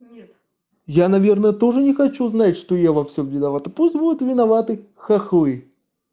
нет я наверное тоже не хочу знать что я во всём виновата поздновато пусть будут виноваты хохлы